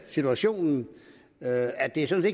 situationen med at det sådan